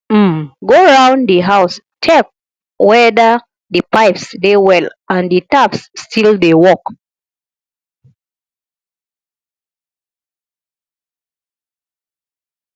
um go round di house check weda di pipes dey well and di taps still dey work